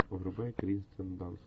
врубай кирстен данст